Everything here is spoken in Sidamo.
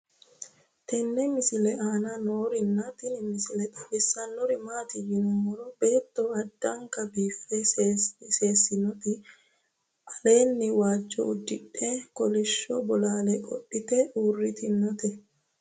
tenne misile aana noorina tini misile xawissannori maati yinummoro beetto addankka biiffe seessinotti aleenni waajjo udidhe kolishsho bolaalle qodhitte uurittinnotti